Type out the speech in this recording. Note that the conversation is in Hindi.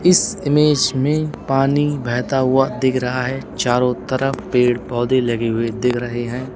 इस इमेज में पानी बहता हुआ दिख रहा है चारों तरफ पेड़ पौधे लगे हुए दिख रहे हैं।